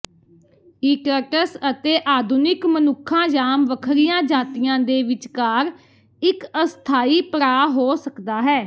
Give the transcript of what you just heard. ਈਟਟਸ ਅਤੇ ਆਧੁਨਿਕ ਮਨੁੱਖਾਂ ਜਾਂ ਵੱਖਰੀਆਂ ਜਾਤੀਆਂ ਦੇ ਵਿਚਕਾਰ ਇੱਕ ਅਸਥਾਈ ਪੜਾਅ ਹੋ ਸਕਦਾ ਹੈ